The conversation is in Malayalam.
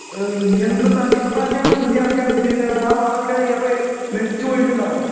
ഈ എന്ത് സാർ ഇപ്രാവശ്യാണ് കൃഷിയെറക്കാനുദ്ദേശിച്ചേക്കണേ ആ വളൊക്കെ അപ്പെ നശിച്ചു പോയിട്ടിണ്ടാകും